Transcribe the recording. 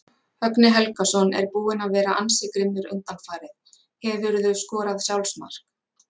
Högni Helgason er búinn að vera ansi grimmur undanfarið Hefurðu skorað sjálfsmark?